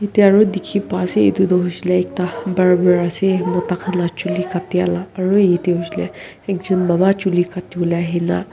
etia karne diki pai ase etu tu nishina ekta barber ase mota kan la juli katia la aro yete hoishae le ekjun baba juli kati volae ahina.